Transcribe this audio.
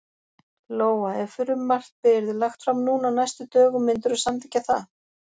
Lóa: Ef frumvarpið yrði lagt fram núna á næstu dögum, myndirðu samþykkja það?